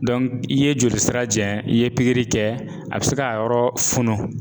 i ye joli sira jɛ, i ye pikiri kɛ a bɛ se k'a yɔrɔ funu.